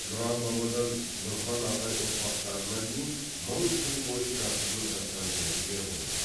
нұран бабадан нұрхан ағай ұрпақтарына дейін мың жыл бойы жасырынып жатқан жәдігер ғой бұл